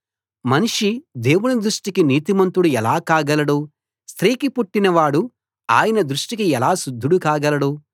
మనిషి దేవుని దృష్టికి నీతిమంతుడు ఎలా కాగలడు స్త్రీకి పుట్టినవాడు ఆయన దృష్టికి ఎలా శుద్ధుడు కాగలడు